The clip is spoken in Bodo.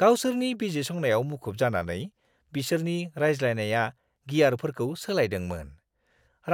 गावसोरनि बिजिरसंनायाव मुखुब जानानै, बिसोरनि रायज्लायनाया गियारफोरखौ सोलायदोंमोन,